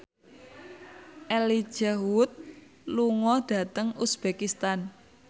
Elijah Wood lunga dhateng uzbekistan